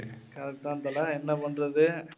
தான் தல, என்ன பண்றது?